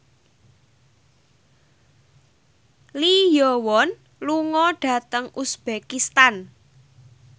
Lee Yo Won lunga dhateng uzbekistan